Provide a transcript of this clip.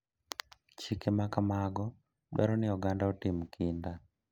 Chike ma kamago dwaro ni oganda otim kinda.